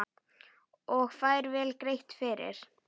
Og fær vel greitt fyrir.